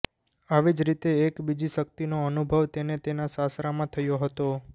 આવી જ રીતે એક બીજી શક્તિનો અનુભવ તેને તેના સાસરામાં થયો હતો